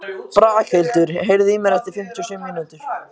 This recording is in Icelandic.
Braghildur, heyrðu í mér eftir fimmtíu og sjö mínútur.